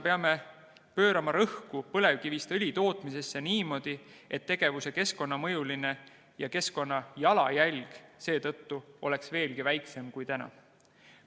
Peame pöörama tähelepanu, et põlevkivist õli tootmise keskkonnamõju ja keskkonnajalajälg oleks veelgi väiksem kui täna.